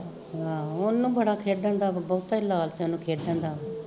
ਆਹੋ ਉਹਨੂੰ ਬੜਾ ਖੇਡਣ ਦਾ, ਬਹੁਤਾ ਈ ਲਾਲਚ ਐ ਉਹਨੂੰ ਖੇਡਣ ਦਾ